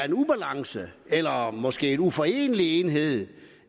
en ubalance eller måske på uforenelige enheder